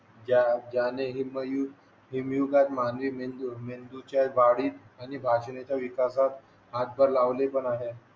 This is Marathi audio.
ज्याने ही हिमयुगात मानवी मेंदूच्या वाढीत आणि वाढण्याच्या विकासात हातभार लावला पण आहे